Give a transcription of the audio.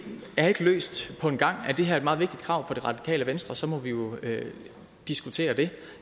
er ikke løst på en gang er det her et meget vigtigt krav for det radikale venstre må vi jo diskutere det